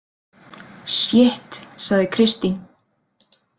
Sjitt, sagði Kristín.